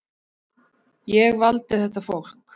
Ég valdi þetta fólk.